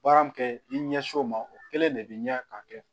Baara min kɛ i ɲɛsi o ma o kelen de bɛ ɲɛ k'a kɛ